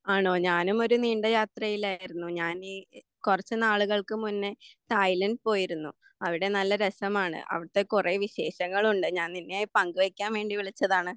ആണോ ഞാനും ഒരു നീണ്ട യാത്രയിലായിരുന്നു. ഞാന് ഈ കുറച്ചു നാളുകൾക്ക് മുന്നെ തായ്ലൻ്റെ പോയിരുന്നു. അവിടെ നല്ല രസമാണ്. അവിടുത്തെ കുറേ വിശേഷങ്ങളുണ്ട്. ഞാൻ നിന്നെ പങ്കു വെക്കാൻ വേണ്ടി വിളിച്ചതാണ്.